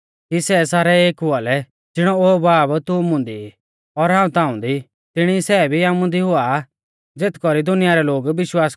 कि सै सारै एक हुआ लै ज़िणौ ओ बाब तू मुंदी ई और हाऊं ताऊं दी तिणी ई सै भी आमुदी हुआ ज़ेथ कौरी दुनिया रै लोग विश्वास कौरा की ताइंऐ ई हाऊं भेज़ौ ऊ